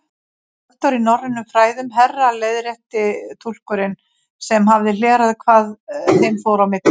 Doktor í norrænum fræðum, herra leiðrétti túlkurinn sem hafði hlerað hvað þeim fór á milli.